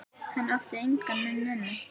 Hann átti enginn nema